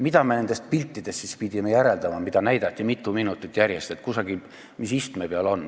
Mida me nendest piltidest siis pidime järeldama, mida näidati mitu minutit järjest, et mis kusagil istme peal on?